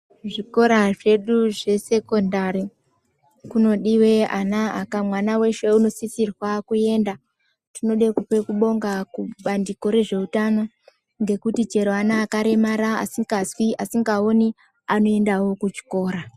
Zvikora zvedu zvesekondari kunodiwe ana aka mwana weshe unosisirwe kuenda tinode kupe kubonga kubandiko rezveutano ngekuti chero ana akaremara asikazwi asingaoni anoendawo kuchikora.